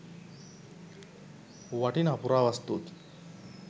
වටිනා පුරා වස්තුවකි.